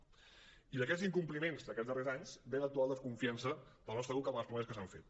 i d’aquests incompliments d’aquests darrers anys ve l’actual desconfiança del nostre grup cap a les promeses que s’han fet